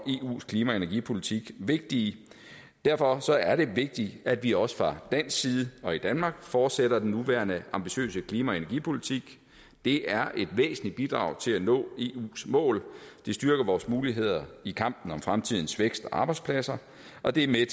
eus klima og energipolitik vigtige derfor er det vigtigt at vi også fra dansk side og i danmark fortsætter den nuværende ambitiøse klima og energipolitik det er et væsentligt bidrag til at nå eus mål det styrker vores muligheder i kampen om fremtidens vækst og arbejdspladser og det er